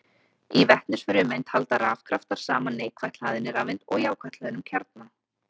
Í vetnisfrumeind halda rafkraftar saman neikvætt hlaðinni rafeind og jákvætt hlöðnum kjarna.